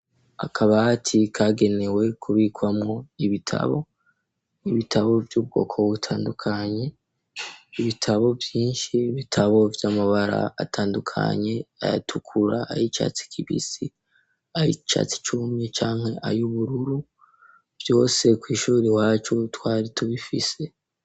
Akabati kagenewe kubikwamwo ibitabo ibitabo vy'ubwoko butandukanye ibitabo vyinshi bitabo vy'amabara atandukanye ayatukura ayi icatsi kibisi aho icatsi cumye canke ayo ubururu vyose kw'ishuri wacu ubutwarie dubifise.